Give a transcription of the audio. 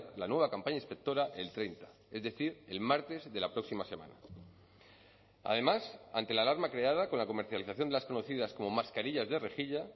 la nueva campaña inspectora el treinta es decir el martes de la próxima semana además ante la alarma creada con la comercialización de las conocidas como mascarillas de rejilla